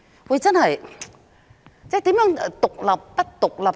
說真的，何謂獨立或不獨立呢？